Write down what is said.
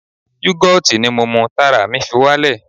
Yugoti ni mo mu tára mi fi wá lè.